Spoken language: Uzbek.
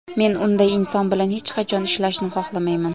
Men unday inson bilan hech qachon ishlashni xohlamayman!